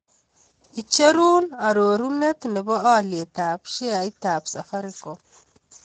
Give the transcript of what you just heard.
Icherun arorunet ne po Alyetap sheaitap Safaricom